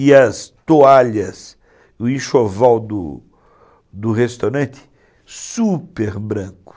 E as toalhas, o enxoval do do restaurante, super branco.